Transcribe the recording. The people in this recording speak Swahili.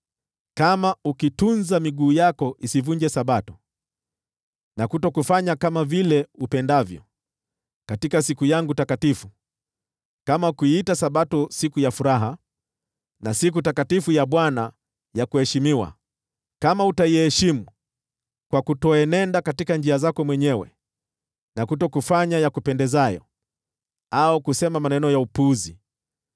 “Kama ukitunza miguu yako isivunje Sabato, na kutokufanya kama vile upendavyo katika siku yangu takatifu, kama ukiita Sabato siku ya furaha na siku takatifu ya Bwana ya kuheshimiwa, kama utaiheshimu kwa kutoenenda katika njia zako mwenyewe, na kutokufanya yakupendezayo au kusema maneno ya upuzi,